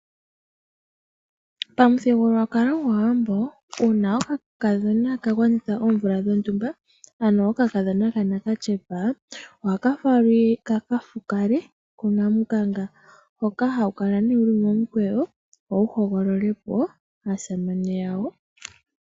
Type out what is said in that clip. Pamuthigululwakalo gwaawambo uuna oka kadhona ka gwanitha oomvula dhontumba ano oka kadhona katshipa ohaka falwa kaka fukale hoka hawu kala wuli momu kweyo wo wu hogolole po aasamane yawo.